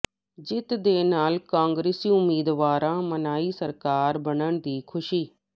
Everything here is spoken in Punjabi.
ਜਿੱਤ ਦੇ ਨਾਲ ਕਾਂਗਰਸੀ ਉਮੀਦਵਾਰਾਂ ਮਨਾਈ ਸਰਕਾਰ ਬਣਨ ਦੀ ਖੁਸ਼ੀ